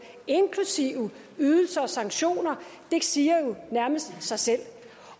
inklusive ydelser og sanktioner det siger jo nærmest sig selv